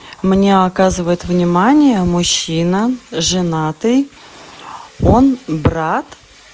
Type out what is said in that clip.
мне оказывает внимание мужчина женатый он брат